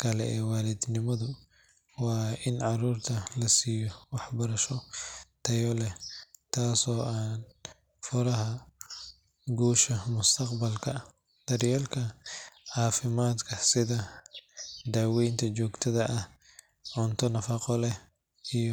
kale ee waalidnimadu waa in carruurta la siiyo waxbarasho tayo leh, taasoo ah furaha guusha mustaqbalka. Daryeelka caafimaadka sida daaweynta joogtada ah, cunto nafaqo leh,